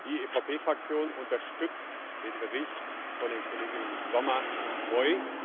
Die EVP Fraktion unterstützt den Bericht von den Kolleginnen Sommer und Moi.